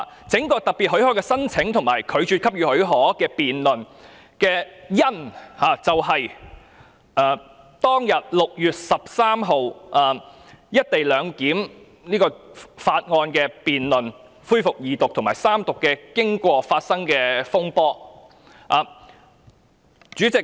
這項有關特別許可申請及拒絕給予許可的議案的"因"，就是6月13日就《廣深港高鐵條例草案》二讀恢復辯論及三讀的經過，以及當中發生的風波。